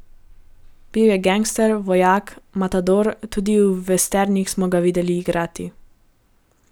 Bil je gangster, vojak, matador, tudi v vesternih smo ga videli igrati.